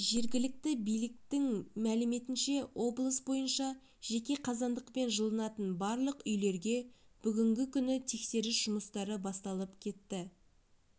жергілікті биліктің мәліметінше облыс бойынша жеке қазандықпен жылынатын барлық үйлерге бүгінгі күні тексеріс жұмыстары басталып кетті